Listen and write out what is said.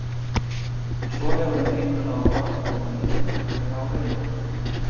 En svo hefur hann engan áhuga á henni þegar á reynir.